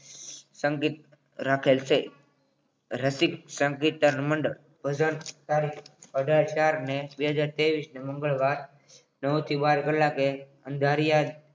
સંગીત રાખેલ છે રસિક સંગીતર મંડળ ભજન તારીખ અઢાર ચાર બે હજાર તેવીશ નો મંગળવાર નવ થી બાર કલાકે અંધારિયા